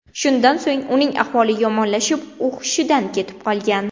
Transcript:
Shundan so‘ng uning ahvoli yomonlashib, u hushidan ketib qolgan.